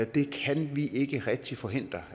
det kan vi ikke rigtig forhindre